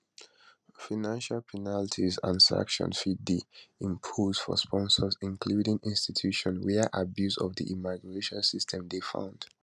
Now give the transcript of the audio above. financial penalties and sanctions fit dey imposed for sponsors including institutions wia abuse of di immigration system dey found